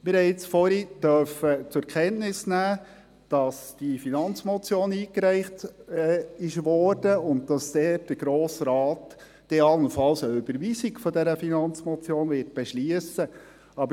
Vorhin durften wir zu Kenntnis nehmen, dass die Finanzmotion () eingereicht worden ist und der Grosse Rat allenfalls eine Überweisung dieser Finanzmotion beschliessen wird.